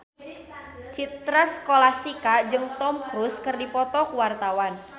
Citra Scholastika jeung Tom Cruise keur dipoto ku wartawan